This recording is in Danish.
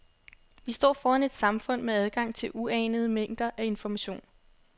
Vi står foran et samfund med adgang til uanede mængder af information.